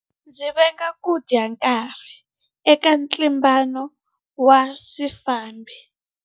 Ndzi venga ku dya nkarhi eka ntlimbano wa swifambo.